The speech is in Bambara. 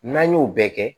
N'an y'o bɛɛ kɛ